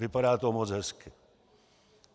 Vypadá to moc hezky.